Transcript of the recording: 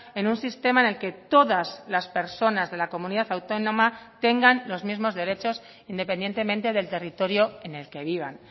en un sistema en el que todas las personas de la comunidad autónoma tengan los mismos derechos independientemente del territorio en el que vivan